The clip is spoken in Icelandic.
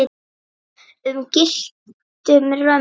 um gylltum römmum.